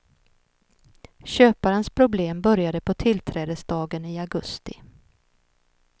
Köparens problem började på tillträdesdagen i augusti.